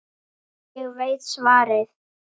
Ég veit svarið.